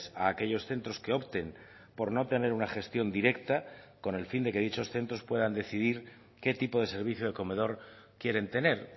a aquellos centros que opten por no tener una gestión directa con el fin de que dichos centros puedan decidir qué tipo de servicio de comedor quieren tener